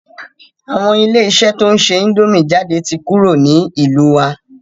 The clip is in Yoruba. Àwọn ilé iṣẹ́ to ń ṣe índòmí jáde ti kúrò ní ìlú wa.